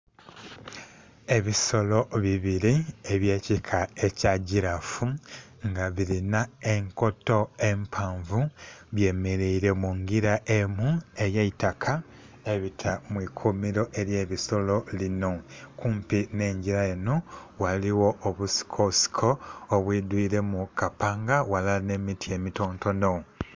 Ebisolo bibiri ebyekika ekyagirafu nga birina enkoto empanvu byemeraire mungira emu eyeitaka ebita mwiikumiro eryebisolo lino. Kumpi nhengira eno ghaligho obusikosiko obwiidwire kapanga walala nh'emiti emitontono.